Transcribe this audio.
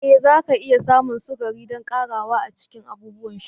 Ee zaki iya samun sukari don ƙarawa a cikin abubuwan sha.